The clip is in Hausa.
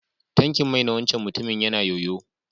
Tankin mai na wancan mutumin ya na yoyo.